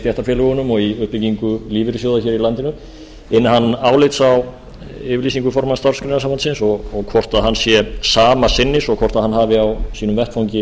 stéttarfélögunum og í uppbyggingu lífeyrissjóða í landinu inna hann álits á yfirlýsingu formanns starfsgreinasambandsins og hvort hann sé sama sinnis og hvort hann hafi á sínum vettvangi